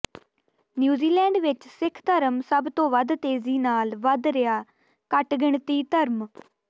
New Zealand ਵਿੱਚ ਸਿੱਖ ਧਰਮ ਸਭ ਤੋਂ ਵੱਧ ਤੇਜ਼ੀ ਨਾਲ ਵਧ ਰਿਹਾ ਘਟਗਿਣਤੀ ਧਰਮ